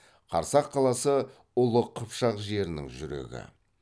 қарсақ қаласы ұлы қыпшақ жерінің жүрегі